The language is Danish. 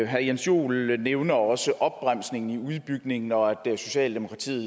herre jens joel nævner også opbremsningen i udbygningen og at socialdemokratiet